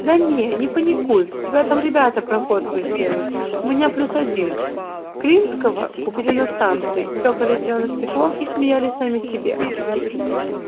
да не не паникуй там ребята проходку сделают у меня плюс один клинского купили на станции чокались зелёным стеклом и смеялись сами себе